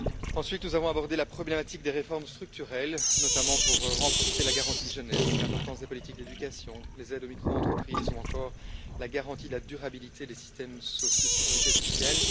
Ensuite, nous avons abordé la problématique des réformes structurelles, notamment pour renforcer la garantie pour la jeunesse, l'importance des politiques d'éducation, les aides aux microentreprises ou encore la garantie de la durabilité des systèmes de sécurité sociale.